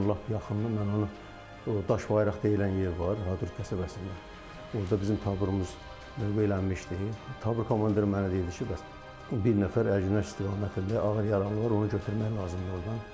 Lap yaxında mən onu o Daşbayraq deyilən yer var, Hadrut qəsəbəsində, orda bizim taburumuz döyüşlənmişdi, tabur komandiri mənə dedi ki, bəs bir nəfər Ərgünəş istiqamətində ağır yaranı var, onu götürmək lazımdır ordan.